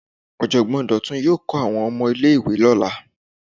Ojogbon Dotun yoo kọ awọn ọmọ ile-iwe ni ọla